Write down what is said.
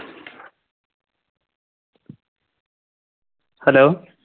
Hello